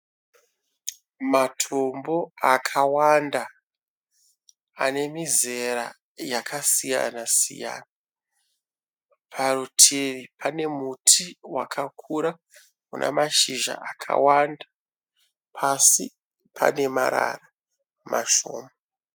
Matombo akawanda anemizera yakasiyana siyana . Parutivi pane muti wakakura una mashizha akawanda ,pasi pane marara mashoma.